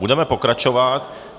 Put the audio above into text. Budeme pokračovat.